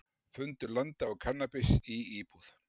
Fundu landa og kannabis í íbúð